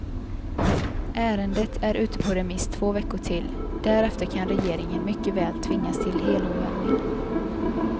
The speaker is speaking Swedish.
Ärendet är ute på remiss två veckor till, därefter kan regeringen mycket väl tvingas till helomvändning.